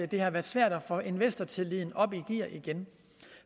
det har været svært at få investortilliden op i gear igen